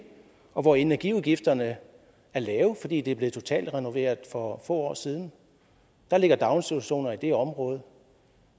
og hvor energiudgifterne er lave fordi området er blevet totalrenoveret for få år siden der ligger daginstitutioner i det område